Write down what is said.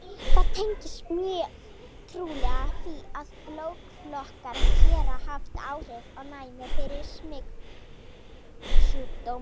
Það tengist mjög trúlega því, að blóðflokkar geta haft áhrif á næmi fyrir smitsjúkdómum.